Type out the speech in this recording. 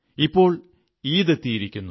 ഇപ്പോൾ ഈദ് എത്തിയിരിക്കുന്നു